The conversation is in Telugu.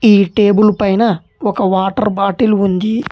ఈ టేబుల్ పైన ఒక వాటర్ బాటిల్ ఉంది.